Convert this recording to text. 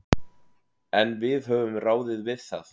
En við höfum ráðið við það.